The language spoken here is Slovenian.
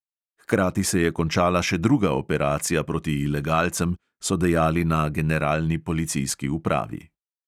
Hkrati se je končala še druga operacija proti ilegalcem, so dejali na generalni policijski upravi.